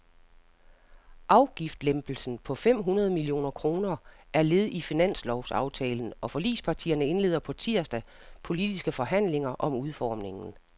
Afgiftslempelsen på fem hundrede millioner kroner er led i finanslovsaftalen, og forligspartierne indleder på tirsdag politiske forhandlinger om udformningen.